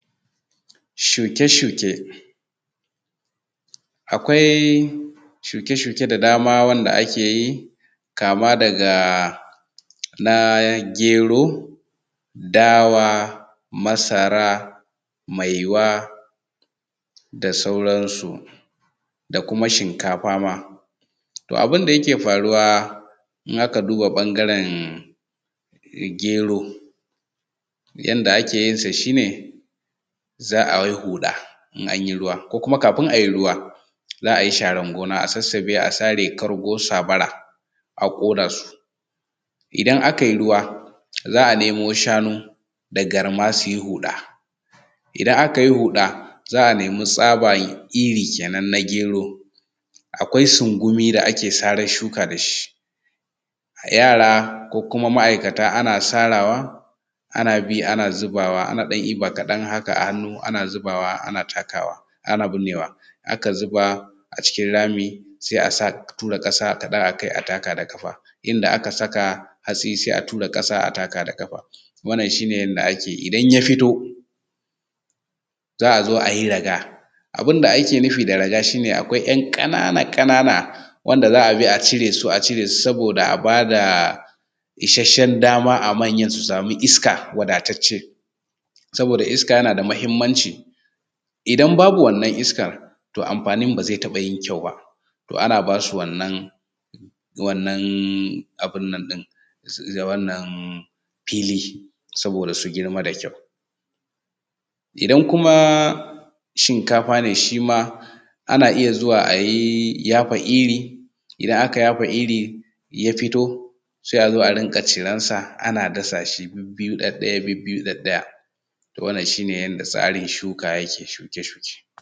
Shuke shuke. Akwai shuke shuke da dama wanda ake yi kama daga na gero, dawa, masara, maiwa da sauran su. Da kuma shinkafa ma. Abun da ake faruwa ma idan aka duba ɓangaren gero yanda ake yinsa shi ne za a yi huɗa in anyi ruwan ko kafin a yi ruwa za a yi sharan gona a yi sassaɓe a sare kalgo sabara a ƙona su, idan aka yi ruwa za a nemo shanu da garma su yi huɗa. Idan aka yi huɗa za a nema tsaba iri kenan na gero, akwai sungumi da ake saran shuka da shi, yara ko ma'ikata ana sarawa ana bi ana zubawa an ɗan ɗiba kaɗan haka a hannu ana ɗiba ana binnewa aka zuba a cikin rami, sai a sa a tura ƙasa akai a taka da ƙafa, inda aka saka hatsi sai asa kasa a taka da ƙafa. Wannan shi ne yadda ake yi. Idan ta fito za a zo a yi raga, abun da ake nufi da raga shi ne akwai wasu ‘yan ƙananan wanda za a bi a cire su a cire su, saboda a ba da ishahen dama a manyan su sami iska wadatatce, saboda iska yana da mahimmanci. Idan babu wannan iskan amfanin ba zata taɓa yin kyau ba to ana basu wannan fili saboda su girma da kyau. Idan kuma shikafa ne shi ma ana iya zuwa a yafa iri, idan aka yafa iri ya fito sai a zo a rinƙa ciran sa a dasa shi bibbiyu ɗaɗɗaya bibbiyu ɗaɗɗaya to wannan shi ne yanda tsarin shuka yake ko shuke shuke.